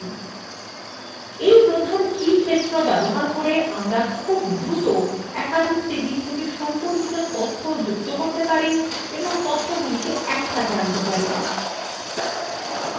we প্রধান key ক্ষেত্র ব্যবহার করে আমরা খুব দ্রুত একাধিক টেবিল থেকে সম্পর্কিত তথ্য যুক্ত করতে পারি এবং তথ্যগুলি একসাথে আনতে পারি